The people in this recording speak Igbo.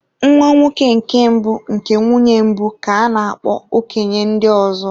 Nwa nwoke nke mbụ nke nwunye mbụ, ka a na-akpo okenye ndị ọzọ.